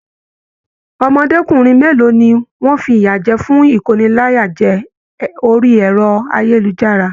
Ọmọdékunrin mélòó ní wọn fiyajẹ fún ikóníláyàjẹ̀ orí ẹrọ ayélujára?